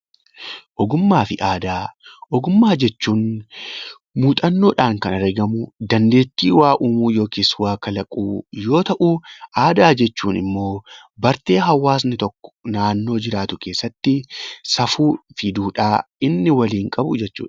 Ogummaafi aadaa ogummaa jechuun muuxannoodhaan kan argamu dandeettii waa uumuu yookiis waa kalaquu yoo ta'u, aadaa jechuunimmoo bartee hawaasni tokko naannoo jiraatu keessatti safuufi duudhaa inni waliin qabu jechuudha.